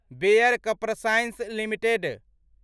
bear CropScience limited